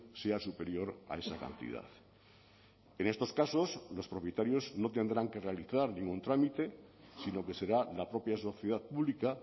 sea superior a esa cantidad en estos casos los propietarios no tendrán que realizar ningún trámite sino que será la propia sociedad pública